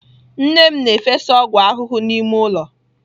Nne m na-efesa ọgwụ ahụhụ n'ime ụlọ.